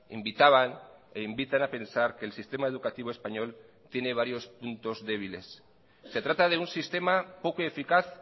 invitaban e invitan a pensar que el sistema educativo español tiene varios puntos débiles se trata de un sistema poco eficaz